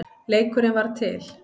Leikurinn varð til.